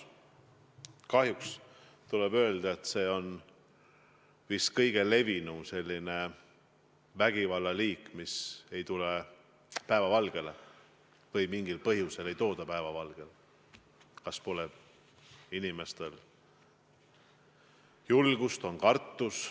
Kahjuks tuleb öelda, et see on vist kõige levinum vägivallaliik, mis ei tule päevavalgele või mida mingil põhjusel ei tooda päevavalgele – küllap inimestel pole julgust, küllap nad kardavad.